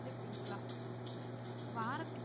புடிங்கிக்கலாம் வாரத்துல